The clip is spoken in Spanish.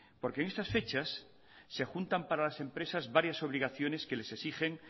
porque en estas fechas se juntan para las empresas varias obligaciones que les exigen